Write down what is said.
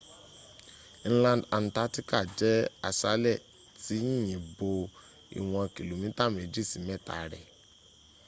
inland antarctica jẹ́ aṣálẹ̀ tí yìnyín bo ìwọn kìlómítà mẹ́jì sí mẹ́ta rẹ